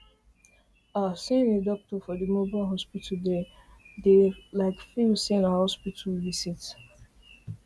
ah seeing a doctor for di mobile hospital dey like feel say na hospital visit